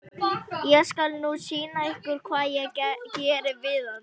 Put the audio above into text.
Ég skal nú sýna ykkur hvað ég geri við hana!